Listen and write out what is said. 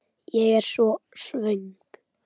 Ég er svo svöng.